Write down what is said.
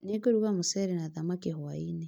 Nĩngũruga mũcere na thamaki hwaĩ-inĩ